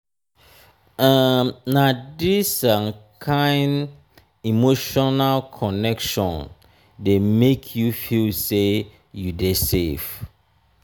um na dis um kain um emotional connection dey make you feel sey you dey safe.